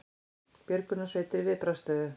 Björgunarsveitir í viðbragðsstöðu